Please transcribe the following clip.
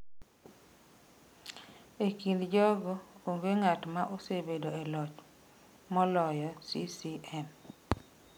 E kind jogo, onge ng’at ma osebedo e loch moloyo CCM.